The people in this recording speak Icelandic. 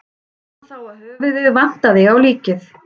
Sá hann þá að höfuðið vantaði á líkið.